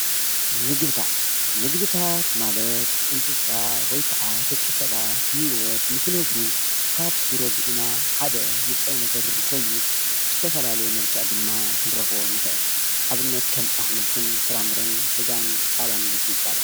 ምግብታት ፦ምግብታት ማለት እንስሳ ወይ ከዓ ደቂሰባት ብሂወት ንክነብሩ ካብ ዝረድኡና ሓደ ንጥረ ነገር ኮይኑ ብዝተፈላለዩ መልክዕ ድማ ክንረክቦም ንኽእል ኣብነት ከም ኣሕምልትን ፍራምረን ስጋን ፀባን ውፅኢት ፀባን